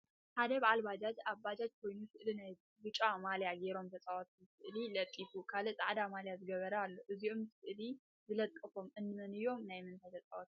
ሓደ በባል ባጃጅ ኣብ ባጃጁ ኮይኑ ስእሊ ናይ ቢጫ ማልያ ጌሮም ተፃወቲ ስእሊ ለጢፉ ካሊእ ፃዕዳ ማልያ ዝገበረ ኣሎ እዞም ስእሊ ዝለጠፎም እንመን እዮ? ናይ ምንታይ ተፃወቲ እዮ?